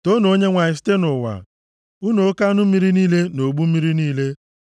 Toonu Onyenwe anyị, site nʼụwa, unu oke anụ mmiri niile na ogbu mmiri niile,